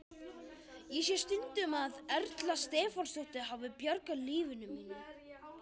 Ég segi stundum að Erla Stefánsdóttir hafi bjargað lífi mínu.